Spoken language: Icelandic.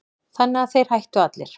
Þannig að þeir hættu allir.